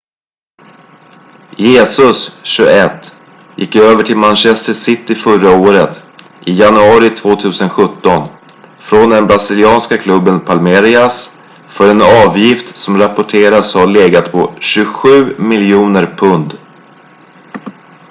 jesus 21 gick över till manchester city förra året i januari 2017 från den brasilianska klubben palmeiras för en avgift som rapporteras ha legat på 27 miljoner pund